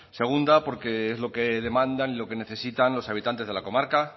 segunda porque es lo que demandan y lo que necesitan los habitantes de la comarca